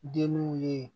Denw ye